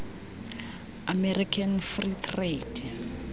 american free trade